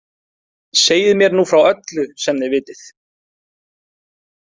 Segið mér nú frá öllu sem þið vitið.